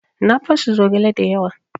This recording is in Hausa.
Na basu zogale da yawa.